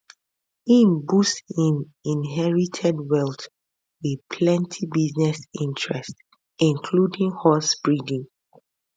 im boost im inherited wealth with plenti business interests including horsebreeding